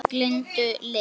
Minning Lindu lifir.